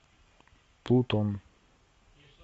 плутон